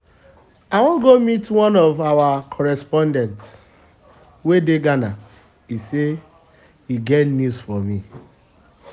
i wan go meet one um of our correspondent um wey dey um ghana he say he get news for me